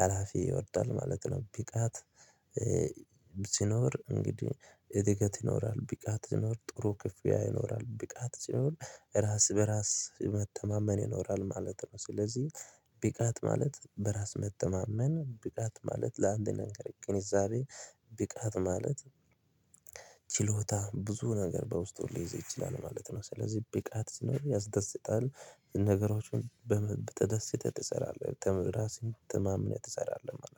ሀላፊ ይወዳል ማለት ነው ብቃት ሲኖር እንግዲህ እድገት ይኖራል ብቃት ሲኖር ጥሩ ክፍያ ይኖራል ብቃት ሲሆን ራስ በራስ መተማመን ይኖራል ማለት ነው ስለዚህ ብቃት ማለት በራስ መተማመን ቢቃት ማለት ለአንድ ነገር ግንዛቤ ብቃት ማለት ችሎታ ብዙ ነገር በውስጡ ሊይዝ ይችላል ማለት ነው ስለዚህ ብቃት ሲኖር ያስደስታል ነገሮችን በተደሰተ ትሰራለህ ራስህን ተማምነህ ትሰራለህ